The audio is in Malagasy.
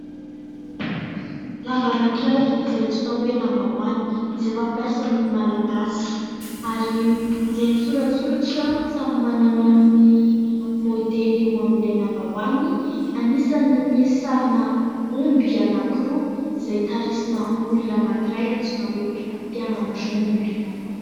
Lamba anankiray izay antsoina hoe lambahoany, izay fampiasan'ny Malagasy ary izay misoratsoratra samy manana ny môdely eo amin'ilay lambahoany. Anisan'ny misy sarina omby anankiroa izay tarisina olona anankiray antsoina hoe mpiandry omby.